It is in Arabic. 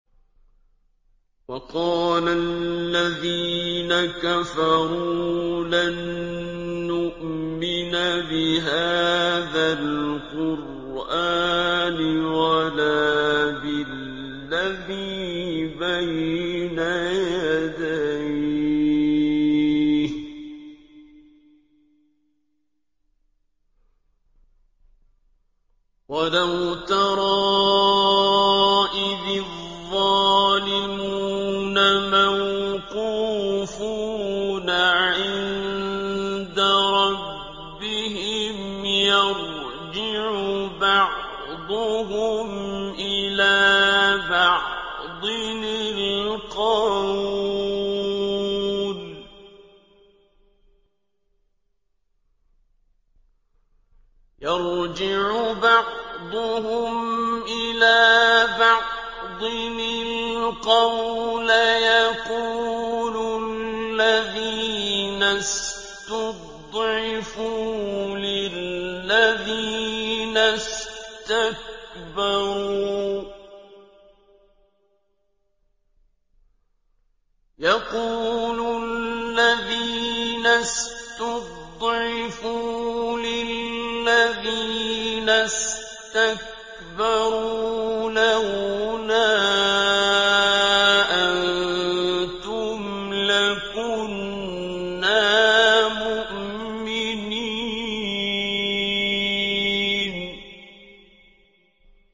وَقَالَ الَّذِينَ كَفَرُوا لَن نُّؤْمِنَ بِهَٰذَا الْقُرْآنِ وَلَا بِالَّذِي بَيْنَ يَدَيْهِ ۗ وَلَوْ تَرَىٰ إِذِ الظَّالِمُونَ مَوْقُوفُونَ عِندَ رَبِّهِمْ يَرْجِعُ بَعْضُهُمْ إِلَىٰ بَعْضٍ الْقَوْلَ يَقُولُ الَّذِينَ اسْتُضْعِفُوا لِلَّذِينَ اسْتَكْبَرُوا لَوْلَا أَنتُمْ لَكُنَّا مُؤْمِنِينَ